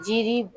Jiri